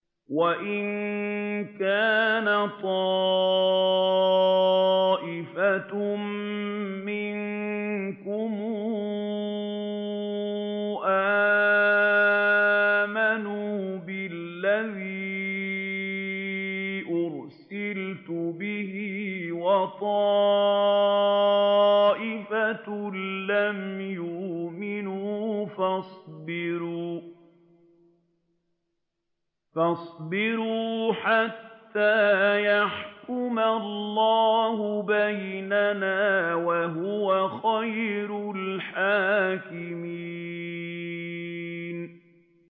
وَإِن كَانَ طَائِفَةٌ مِّنكُمْ آمَنُوا بِالَّذِي أُرْسِلْتُ بِهِ وَطَائِفَةٌ لَّمْ يُؤْمِنُوا فَاصْبِرُوا حَتَّىٰ يَحْكُمَ اللَّهُ بَيْنَنَا ۚ وَهُوَ خَيْرُ الْحَاكِمِينَ